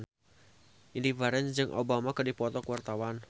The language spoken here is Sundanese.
Indy Barens jeung Obama keur dipoto ku wartawan